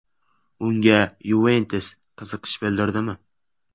Unga “Yuventus” qiziqish bildirdimi?